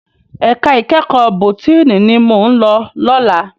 Èká ikèékò bótìní ni mó n lò lòlá